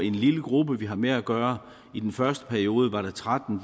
en lille gruppe vi har med at gøre i den første periode var der tretten